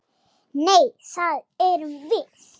Nei, það erum við.